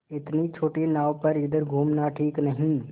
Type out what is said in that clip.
इतनी छोटी नाव पर इधर घूमना ठीक नहीं